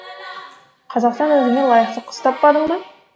қазақтан өзіңе лайықты қыз таппадың ба